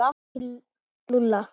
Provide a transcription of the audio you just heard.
Til Lúlla?